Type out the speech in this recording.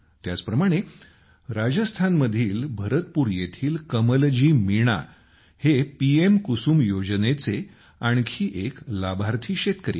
त्याचप्रमाणे राजस्थानमधील भरतपूर येथील कमलजी मीणा हे पीएम कुसुम योजनेचे आणखी एक लाभार्थी शेतकरी आहेत